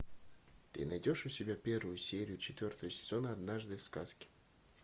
ты найдешь у себя первую серию четвертого сезона однажды в сказке